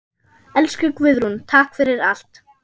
Elsku Guðrún, takk fyrir allt.